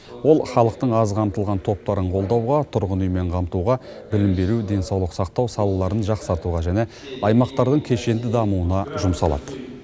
ол халықтың аз қамтылған топтарын қолдауға тұрғын үймен қамтуға білім беру денсаулық сақтау салаларын жақсартуға және аймақтардың кешенді дамуына жұмсалады